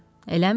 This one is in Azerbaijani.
Eləmi?